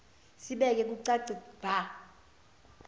sibeke bucace bha